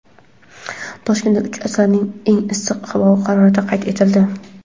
Toshkentda uch asrning eng issiq havo harorati qayd etildi.